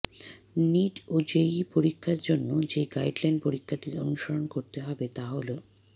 NEET ও JEE পরীক্ষা জন্য যে গাইডলাইন পরীক্ষার্থীদের অনুসরণ করতে হবে তা হলঃ